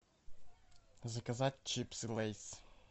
заказать чипсы лейс